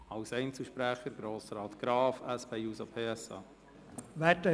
Als Einzelsprecher hat Grossrat Graf das Wort.